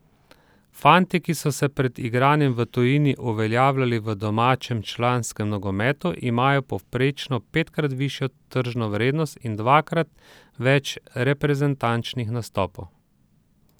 Fantje, ki so se pred igranjem v tujini uveljavili v domačem članskem nogometu, imajo povprečno petkrat višjo tržno vrednost in dvakrat več reprezentančnih nastopov.